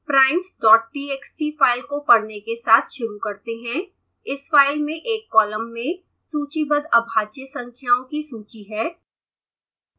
primestxt file को पढ़ने के साथ शुरू करते हैं इस फ़ाइल में एक कॉलम में सूचीबद्ध अभाज्य संख्याओं की सूची है